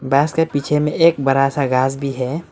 बस के पीछे में एक बड़ा सा घास भी है।